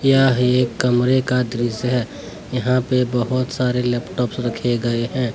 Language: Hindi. यह एक कमरे का दृश्य है यहां पे बहोत सारे लैपटॉप्स रखे गए हैं।